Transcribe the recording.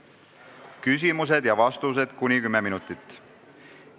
Järgnevad küsimused ja vastused kuni 10 minutit.